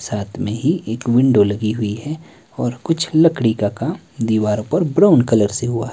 और साथ में ही एक विंडो लगी हुई है और कुछ लकड़ी का काम दीवारों पर ब्राउन कलर से हुआ--